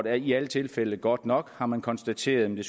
er ikke i alle tilfælde godt nok har man konstateret men